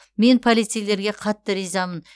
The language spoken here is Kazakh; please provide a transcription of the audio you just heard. мен полицейлерге қатты ризамын